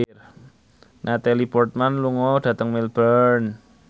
Natalie Portman lunga dhateng Melbourne